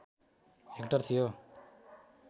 hectare थियो